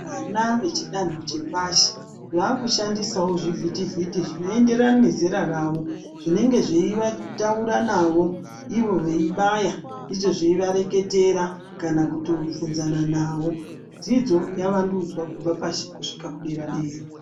Vana vechidanho chepashi vaakushandisawo zvivhiti vhiti zvinoenderana nezera ravo zvinenge zveitaura navo ivo veibaya izvo zveivareketera kana kutovhunzana navo, dzidzo yavandudzwa kubva pashi kusvika dera dera.